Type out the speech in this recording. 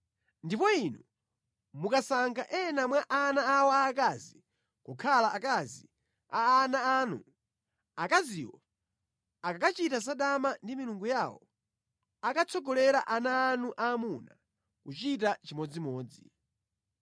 Ndipo inu mukasankha ena mwa ana awo aakazi kukhala akazi a ana anu, akaziwo akakachita zadama ndi milungu yawo, akatsogolera ana anu aamuna kuchita chimodzimodzi.